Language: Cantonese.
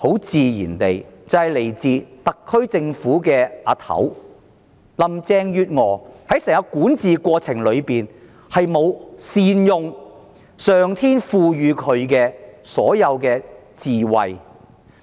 自然是源自特區政府的首長，林鄭月娥在整個管治過程中未有善用上天賦予她的智慧。